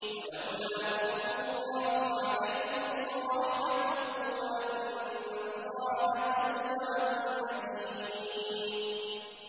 وَلَوْلَا فَضْلُ اللَّهِ عَلَيْكُمْ وَرَحْمَتُهُ وَأَنَّ اللَّهَ تَوَّابٌ حَكِيمٌ